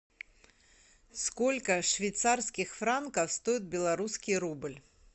сколько швейцарских франков стоит белорусский рубль